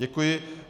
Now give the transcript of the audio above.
Děkuji.